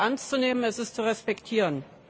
Es ist sehr ernst zu nehmen, es ist zu respektieren.